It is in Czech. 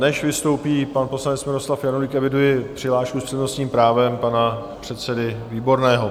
Než vystoupí pan poslanec Miloslav Janulík, eviduji přihlášku s přednostním právem pana předsedy Výborného.